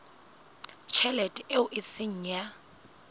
tjhelete eo e seng ya